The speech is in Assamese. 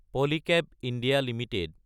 Polycab India Ltd